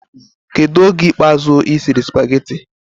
Kedu oge ikpe azu isiri spagehtte